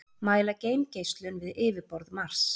mæla geimgeislun við yfirborð mars